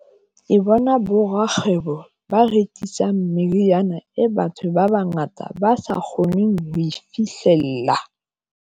Ke bona borakgwebo ba rekisang meriana e batho, ba bangata ba sa kgoneng ho e fihlella.